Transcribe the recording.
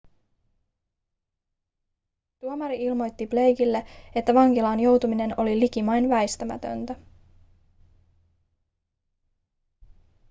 tuomari ilmoitti blakelle että vankilaan joutuminen oli likimain väistämätöntä